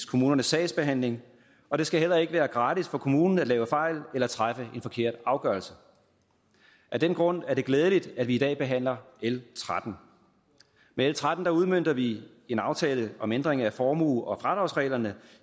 kommunens sagsbehandling og det skal heller ikke være gratis for kommunen at lave fejl eller træffe en forkert afgørelse af den grund er det glædeligt at vi i dag behandler l trettende med l tretten udmønter vi en aftale om en ændring af formue og fradragsreglerne